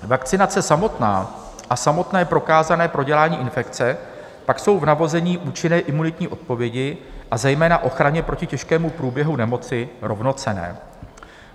Vakcinace samotná a samotné prokázané prodělání infekce pak jsou v navození účinné imunitní odpovědi, a zejména ochraně proti těžkému průběhu nemoci rovnocenné.